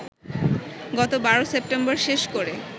গত ১২ সেপ্টেম্বর শেষ করে